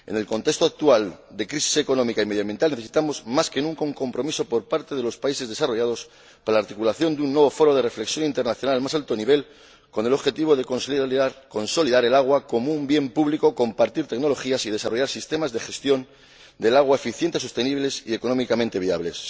En el contexto actual de crisis económica y medioambiental, necesitamos más que nunca un compromiso por parte de los países desarrollados para la articulación de un nuevo foro de reflexión internacional, al más alto nivel, con el objetivo de conseguir consolidar el agua como un bien público, compartir tecnologías y desarrollar sistemas de gestión del agua eficientes, sostenibles y económicamente viables.